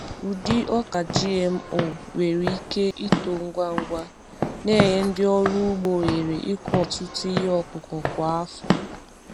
Ụdị ọka GMO nwere ike ito ngwa ngwa, na-enye ndị ọrụ ugbo ohere ịkụ ọtụtụ ihe ọkụkụ kwa afọ.